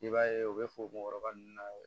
I b'a ye u bɛ fo mɔgɔkɔrɔba nunnu na